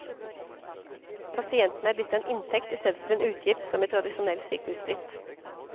Pasienten er blitt en inntekt, i stedet for en utgift, som i tradisjonell sykehusdrift.